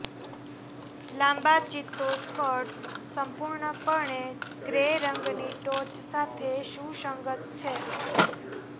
લાંબા ચિત્તો સ્કર્ટ્સ સંપૂર્ણપણે ગ્રે રંગની ટોચ સાથે સુસંગત છે